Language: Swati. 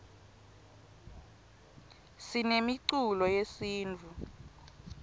sinemiculo yesintfu